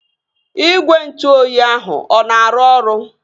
Igwe ntụ oyi ahụ ọ na-arụ ọrụ?